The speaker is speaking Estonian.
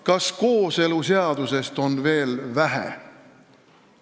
Kas kooseluseadusest on veel vähe?